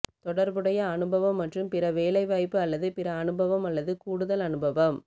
தொடர்புடைய அனுபவம் மற்றும் பிற வேலைவாய்ப்பு அல்லது பிற அனுபவம் அல்லது கூடுதல் அனுபவம்